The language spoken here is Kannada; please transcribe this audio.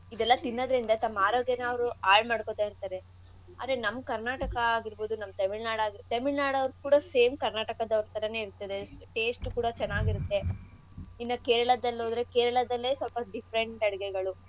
ತಿನ್ನದ್ರಿಂದ ತಮ್ಮ ಆರೋಗ್ಯನ ಅವ್ರು ಆಳ್ಮಾಡ್ಕೊತಾ ಇರ್ತಾರೆ ಅದ್ರೆ ನಮ್ಮ್ ಕರ್ನಾಟಕ ಆಗಿರ್ಬೋದು ನಮ್ ತೆಮಿಳ್ನಾಡ್ ಆಗಿರ್ಬೋದು ತೆಮಿಳ್ನಾಡೋರ್ದು ಕೂಡ same ಕರ್ನಾಟಕದೊರ್ ಥರಾನೇ ಇರ್ರ್ತದೆ taste ಕೂಡ ಚೆನ್ನಾಗಿರತ್ತೆ ಇನ್ನ ಕೇರಳದಲ್ ಹೋದ್ರೆ ಕೇರಳದಲ್ಲೆ ಸ್ವಲ್ಪ different Different.